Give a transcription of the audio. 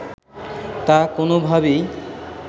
তা কোনোভাবেই